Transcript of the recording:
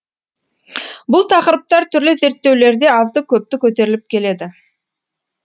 бұл тақырыптар түрлі зерттеулерде азды көпті көтеріліп келеді